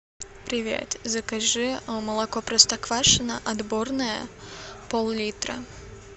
привет закажи молоко простоквашино отборное пол литра